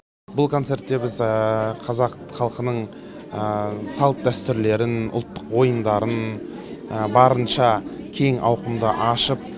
бұл концертте біз қазақ халқының салт дәстүрлерін ұлттық ойындарын барынша кең ауқымда ашып